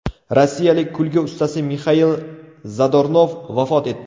Rossiyalik kulgi ustasi Mixail Zadornov vafot etdi .